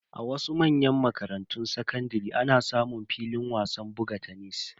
A wasu manyan makarantun sakandare ana samun filin wasan buga tenis.